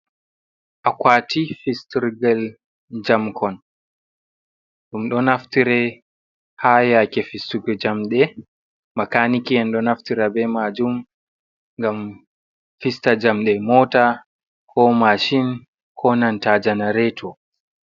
Akwaati fistirgel jamkon, ɗum ɗo naftire haa yaake fistugo jamɗe, makaanike'en ɗo naftire bee maajum ngam fista jamɗe moota koo mashin koo nanta janareeto.